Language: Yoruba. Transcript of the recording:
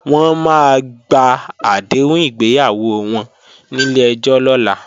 Wọ́n máa gba àdéhùn ìgbéyàwó wọn nílé ẹjọ́ lọ́la